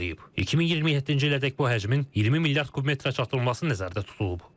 2027-ci ilədək bu həcmin 20 milyard kubmetrə çatdırılması nəzərdə tutulub.